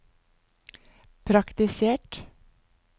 praktisert